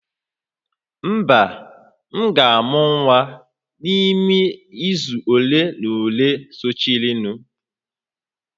Mba, m ga-amụ nwa n'ime izu ole na ole sochirinụ